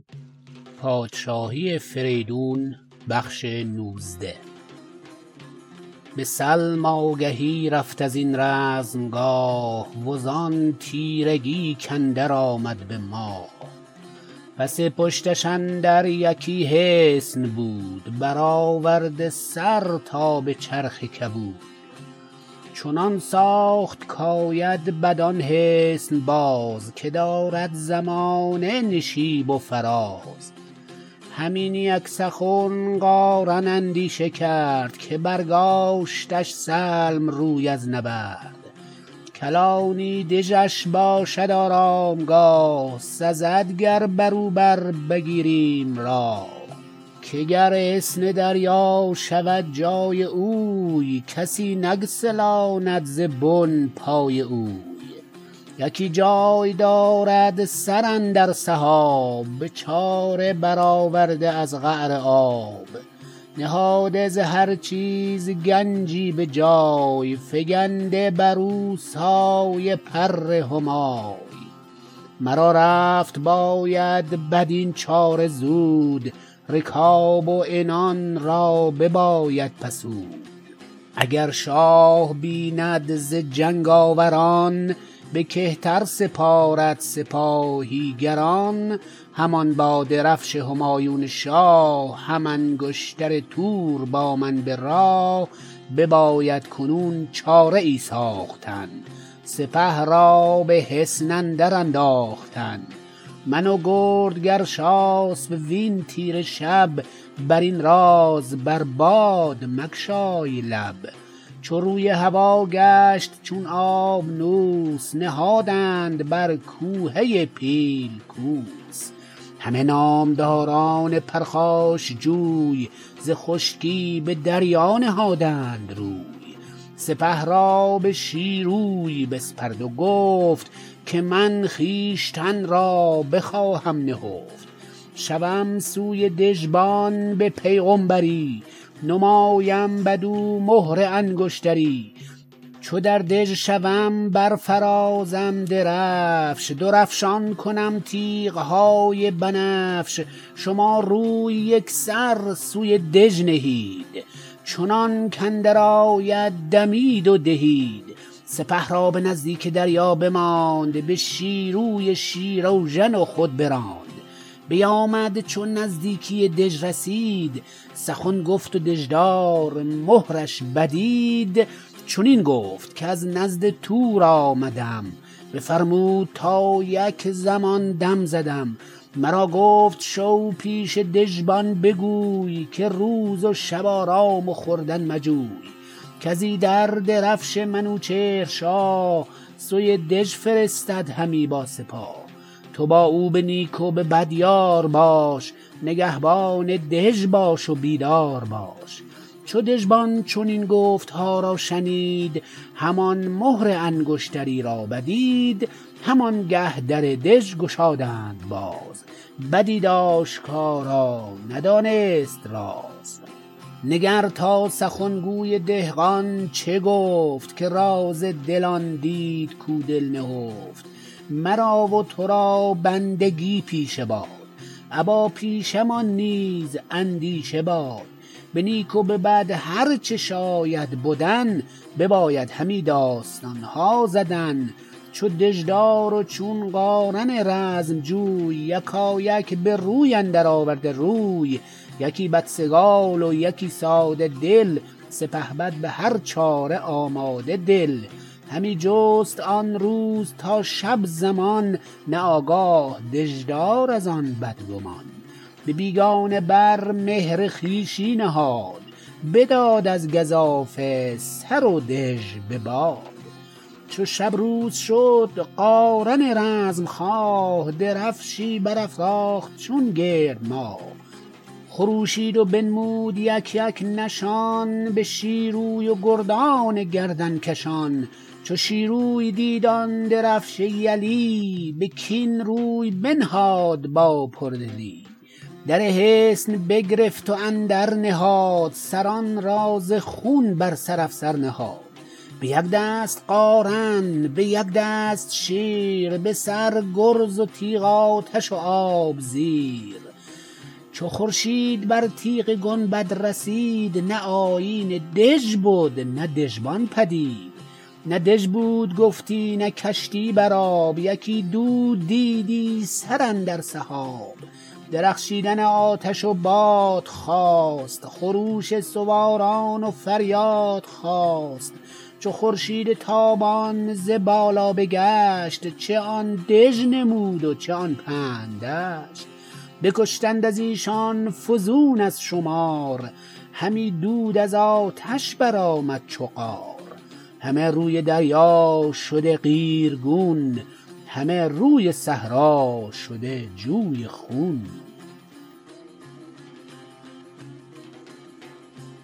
به سلم آگهی رفت ازین رزمگاه وزان تیرگی کاندر آمد به ماه پس پشتش اندر یکی حصن بود برآورده سر تا به چرخ کبود چنان ساخت کاید بدان حصن باز که دارد زمانه نشیب و فراز هم این یک سخن قارن اندیشه کرد که برگاشتش سلم روی از نبرد کلانی دژش باشد آرامگاه سزد گر برو بربگیریم راه که گر حصن دریا شود جای اوی کسی نگسلاند ز بن پای اوی یکی جای دارد سر اندر سحاب به چاره برآورده از قعر آب نهاده ز هر چیز گنجی به جای فگنده برو سایه پر همای مرا رفت باید بدین چاره زود رکاب و عنان را بباید بسود اگر شاه بیند ز جنگ آوران به کهتر سپارد سپاهی گران همان با درفش همایون شاه هم انگشتر تور با من به راه بباید کنون چاره ای ساختن سپه را به حصن اندر انداختن من و گرد گرشاسپ وین تیره شب برین راز بر باد مگشای لب چو روی هوا گشت چون آبنوس نهادند بر کوهه پیل کوس همه نامداران پرخاشجوی ز خشکی به دریا نهادند روی سپه را به شیروی بسپرد و گفت که من خویشتن را بخواهم نهفت شوم سوی دژبان به پیغمبری نمایم بدو مهر انگشتری چو در دژ شوم برفرازم درفش درفشان کنم تیغ های بنفش شما روی یکسر سوی دژ نهید چنانک اندر آید دمید و دهید سپه را به نزدیک دریا بماند به شیروی شیراوژن و خود براند بیامد چو نزدیکی دژ رسید سخن گفت و دژدار مهرش بدید چنین گفت کز نزد تور آمدم بفرمود تا یک زمان دم زدم مرا گفت شو پیش دژبان بگوی که روز و شب آرام و خوردن مجوی کز ایدر درفش منوچهر شاه سوی دژ فرستد همی با سپاه تو با او به نیک و به بد یار باش نگهبان دژ باش و بیدار باش چو دژبان چنین گفتها را شنید همان مهر انگشتری را بدید همان گه در دژ گشادند باز بدید آشکارا ندانست راز نگر تا سخنگوی دهقان چه گفت که راز دل آن دید کو دل نهفت مرا و تو را بندگی پیشه باد ابا پیشه مان نیز اندیشه باد به نیک و به بد هر چه شاید بدن بباید همی داستان ها زدن چو دژدار و چون قارن رزمجوی یکایک به روی اندر آورده روی یکی بدسگال و یکی ساده دل سپهبد به هر چاره آماده دل همی جست آن روز تا شب زمان نه آگاه دژدار از آن بدگمان به بیگانه بر مهر خویشی نهاد بداد از گزافه سر و دژ به باد چو شب روز شد قارن رزمخواه درفشی برافراخت چون گرد ماه خروشید و بنمود یک یک نشان به شیروی و گردان گردن کشان چو شیروی دید آن درفش یلی به کین روی بنهاد با پردلی در حصن بگرفت و اندر نهاد سران را ز خون بر سر افسر نهاد به یک دست قارن به یک دست شیر به سر گرز و تیغ آتش و آب زیر چو خورشید بر تیغ گنبد رسید نه آیین دژ بد نه دژبان پدید نه دژ بود گفتی نه کشتی بر آب یکی دود دیدی سراندر سحاب درخشیدن آتش و باد خاست خروش سواران و فریاد خاست چو خورشید تابان ز بالا بگشت چه آن دژ نمود و چه آن پهن دشت بکشتند از ایشان فزون از شمار همی دود از آتش برآمد چو قار همه روی دریا شده قیرگون همه روی صحرا شده جوی خون